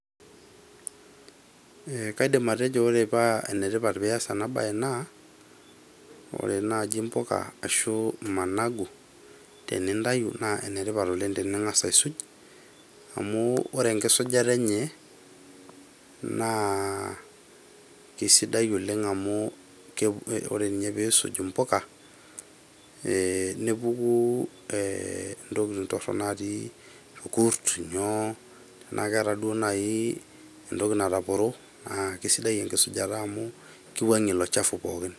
Kaidim atejo ore paa enetipata pee ias ena mbae naa ore naaji imbuka ashuu managu tenintayu naa enetipata oleng pee ingas aisuj amu ore enoisujata enye naa kesidai oleng amu ore ninye pee isuj imbuka nepuku intokitin torok naatii ilkurt inyoo tenaa keetaa duo naaji entoki nataporo naa kesidai enkisujataa amu kiwuangie Iko chafi pooki.